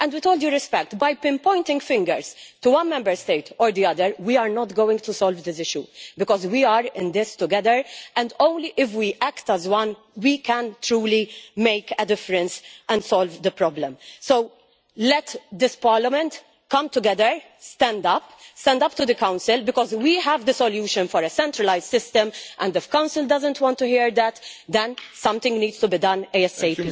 With all due respect, by pointing fingers at one Member State or another we are not going to solve this issue because we are in this together, and only if we act as one can we truly make a difference and solve the problem. So let this Parliament come together and stand up stand up to the Council because we have the solution for a centralised system and if the Council doesn't want to hear that, then something needs to be done ASAP.